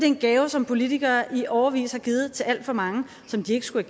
en gave som politikere i årevis har givet til alt for mange og som de ikke skulle